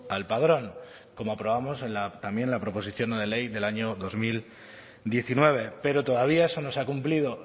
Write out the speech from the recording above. al padrón como aprobamos también en la proposición no de ley del año dos mil diecinueve pero todavía eso no se ha cumplido